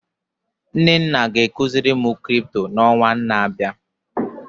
Nnenna ga ekuzi mụ Crypto na ọnwa na abịa